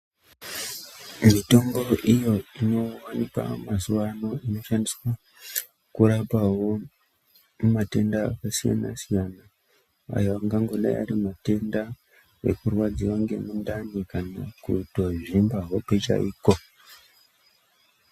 Mitombo iyo inowanikwa mazuwa ano inoshandiswa kurapawo matenda akasiyana siyana ayo angangodai ari matenda ekurwadziwa ngemundani kana kutozvimba hope chaiko